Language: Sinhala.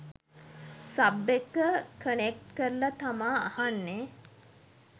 සබ් එක කනෙක්ට් කරල තමා අහන්නෙ.